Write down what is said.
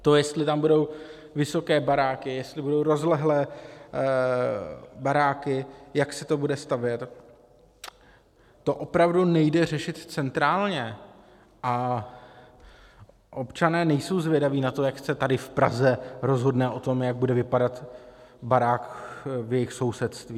To, jestli tam budou vysoké baráky, jestli budou rozlehlé baráky, jak se to bude stavět, to opravdu nejde řešit centrálně a občané nejsou zvědaví na to, jak se tady v Praze rozhodne o tom, jak bude vypadat barák v jejich sousedství.